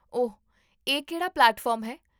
ਓਹ, ਇਹ ਕਿਹੜਾ ਪਲੇਟਫਾਰਮ ਹੈ?